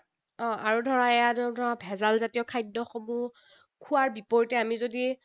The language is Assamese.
আৰু ধৰা এইয়া ধৰা ভেজালজাতীয় খাদ্যসমূহ খোৱাৰ বিপৰীতে আমি যদি